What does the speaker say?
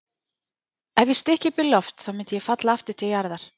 Ef ég stykki upp í loft þá myndi ég falla aftur til jarðar.